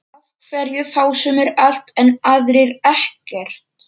Af hverju fá sumir allt en aðrir ekkert?